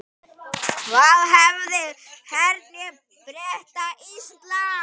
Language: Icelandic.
Af hverju hernámu Bretar Ísland?